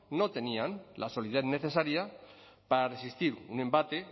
no tenían la solidez necesaria para resistir